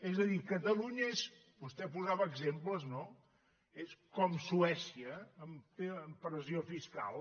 és a dir catalunya és vostè posava exemples no com suècia en pressió fiscal